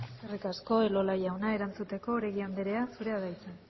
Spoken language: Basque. eskerrik asko elola jauna erantzuteko oregi anderea zurea da hitza